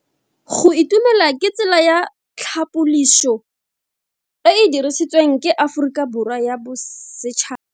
Go itumela ke tsela ya tlhapoliso e e dirisitsweng ke Aforika Borwa ya Bosetšhaba.